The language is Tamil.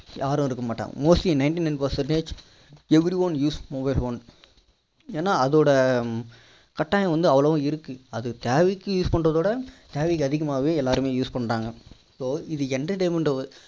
யாரும் இருக்க மாட்டாங்க mostly ninety nine percentage everyone use mobile phone ஏன்னா அதோட கட்டாயம் வந்து அவ்வளோ இருக்கு அது தேவைக்கு use பண்றத விட தேவைக்கு அதிகமாவே எல்லாரும் use பண்றாங்க so இது entertainment ட